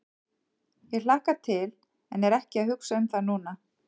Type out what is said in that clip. Ég hlakka til en er ekki að hugsa um það núna.